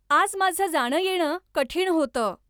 आज माझं जाणंयेणं कठीण होतं.